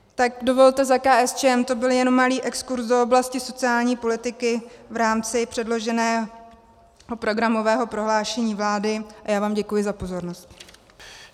Tak dovolte, za KSČM to byl jen malý exkurz do oblasti sociální politiky v rámci předloženého programového prohlášení vlády a já vám děkuji za pozornost.